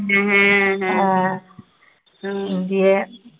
হ্যা হ্যা